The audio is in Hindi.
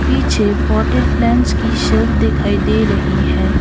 पीछे पॉटेड प्लांट्स की शेल्फ दिखाई दे रही है।